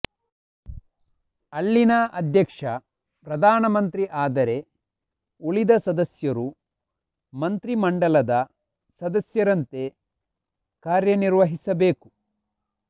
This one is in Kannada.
ಅಲ್ಲಿನ ಅಧ್ಯಕ್ಷ ಪ್ರಧಾನ ಮಂತ್ರಿ ಆದರೆ ಉಳಿದ ಸದಸ್ಯರು ಮಂತ್ರಿಮಂಡಲದ ಸದಸ್ಯರಂತೆ ಕಾರ್ಯನಿರ್ವಹಿಸಬೇಕು